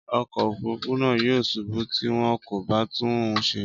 Ọkọ̀ òfurufú náà yóò ṣubú tí wọn kò bá tún un ṣe.